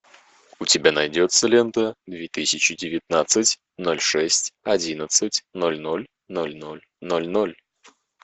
у тебя найдется лента две тысячи девятнадцать ноль шесть одиннадцать ноль ноль ноль ноль ноль ноль